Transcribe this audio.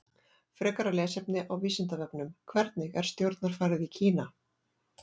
Frekara lesefni á Vísindavefnum: Hvernig er stjórnarfarið í Kína?